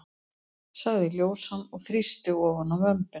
sagði ljósan og þrýsti ofan á vömbina.